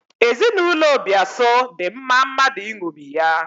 Ezinaụlọ Obiaso dị mma mmadụ ịṅomi ya.